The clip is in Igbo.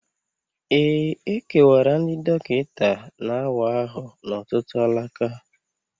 E kewara ndị dọkịta na-awa ahụ n'ọtụtụ alaka